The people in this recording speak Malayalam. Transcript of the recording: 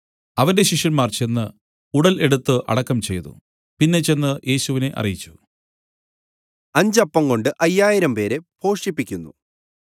അവന്റെ ശിഷ്യന്മാർ ചെന്ന് ഉടൽ എടുത്തു അടക്കം ചെയ്തു പിന്നെ ചെന്ന് യേശുവിനെ അറിയിച്ചു